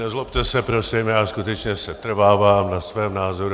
Nezlobte se prosím, já skutečně setrvávám na svém názoru.